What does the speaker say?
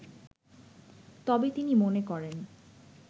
তবে তিনি মনে করেন